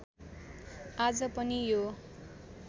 आज पनि यो